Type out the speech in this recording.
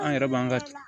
An yɛrɛ b'an ka